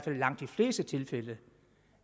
i langt de fleste tilfælde